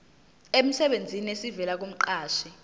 emsebenzini esivela kumqashi